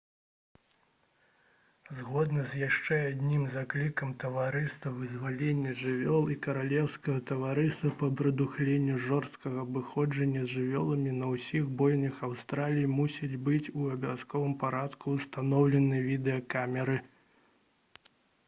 згодна з яшчэ адным заклікам таварыства вызвалення жывёл і каралеўскага таварыства па прадухіленні жорсткага абыходжання з жывёламі на ўсіх бойнях аўстраліі мусяць быць у абавязковым парадку ўстаноўлены відэакамеры